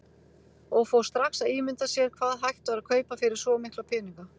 Og fór strax að ímynda sér hvað hægt væri að kaupa fyrir svo mikla peninga.